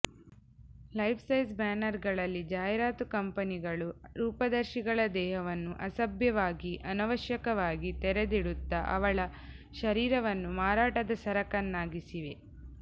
life-size banner ಗಳಲ್ಲಿ ಜಾಹೀರಾತು ಕಂಪನಿಗಳು ರೂಪದರ್ಶಿಗಳ ದೇಹವನ್ನು ಅಸಭ್ಯವಾಗಿ ಅನವಶ್ಯಕವಾಗಿ ತೆರೆದಿಡುತ್ತ ಅವಳ ಶರೀರವನ್ನು ಮಾರಾಟದ ಸರಕನ್ನಾಗಿಸಿವೆ